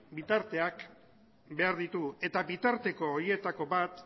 bitarteak behar ditugu eta bitarteko horietako bat